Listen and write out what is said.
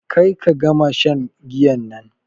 Ƙar ka gama shan giyan nan.